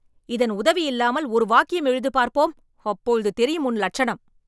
இதன் உதவி இல்லாமல் ஒரு வாக்கியம் எழுது பார்ப்போம்.. அப்பொழுது தெரியும் உன் லட்சணம்